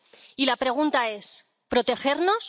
Y la pregunta es, ¿protegernos?